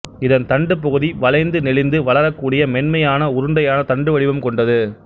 இதன் தண்டு பகுதி வளைந்து நெளிந்து வளரக்கூடிய மென்மையான உருண்டையான தண்டு வடிவம் கொண்டது